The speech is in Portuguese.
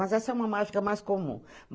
Mas essa é uma mágica mais comum.